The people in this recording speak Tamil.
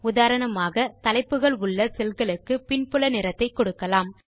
உதாரணமாக தலைப்புகள் உள்ள செல் களுக்கு பின்புல நிறத்தை கொடுக்கலாம்